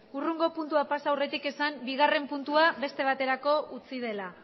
hurrengo puntura pasa aurretik esan bigarren puntua beste baterako utzi dela